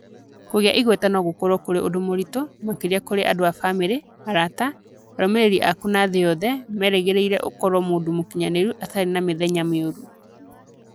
Kũgĩa igweta no gũkorũo kũrĩ ũndũ mũritũ, makĩria kũrĩ andũ a bamirĩ, arata, arũmĩrĩri aku na thĩ yothe merĩgagĩrĩria ũkorũo mũndũ mũkinyanĩru atarĩ mĩthenya mĩũru.